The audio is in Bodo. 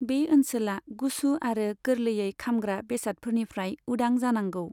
बे ओनसोला गुसु आरो गोरलैयै खामग्रा बेसादफोरनिफ्राय उदां जानांगौ।